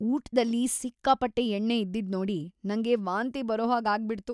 ಊಟ್ದಲ್ಲಿ ಸಿಕ್ಕಾಪಟ್ಟೆ ಎಣ್ಣೆ ಇದ್ದಿದ್ನೋಡಿ ನಂಗೆ ವಾಂತಿ ಬರೋ ಹಾಗ್‌ ಆಗ್ಬಿಡ್ತು.